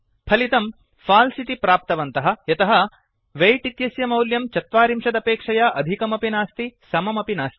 फलितं फाल्स् इति प्राप्तवन्तः यतः वेय्ट् इत्यस्य मौल्यं ४० अपेक्षया अधिकमपि नास्ति समम् अपि नास्ति